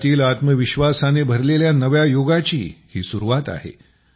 देशातील आत्मविश्वासाने भरलेल्या नव्या युगाची ही सुरुवात आहे